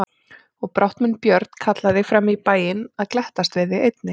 Og brátt mun Björn kalla þig fram í bæinn að glettast við þig einnig.